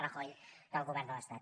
rajoy del govern de l’estat